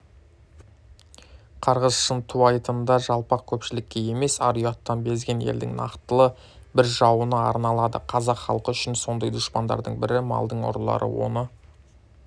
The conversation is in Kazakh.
қарғыс шынтуайтында жалпақ көпшілікке емес ар-ұяттан безген елдің нақтылы бір жауына арналады қазақ халқы үшін сондай дұшпандардың бірі малдың ұрылары оны